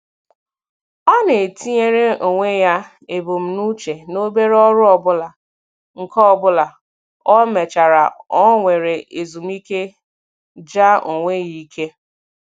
Ọ na-etinyere onwe ya ebumnuche n'obere ọrụ ọbụla, nke ọbụla ọ mechara o were ezumike jaa onwe ya ike.